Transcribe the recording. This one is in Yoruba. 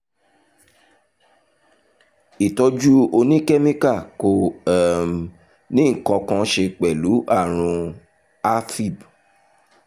ìtọ́jú oníkẹ́míkà kò um ní nǹkan kan ṣe pẹ̀lú àrùn a-fib